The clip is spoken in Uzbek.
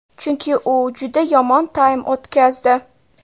Chunki u juda yomon taym o‘tkazdi.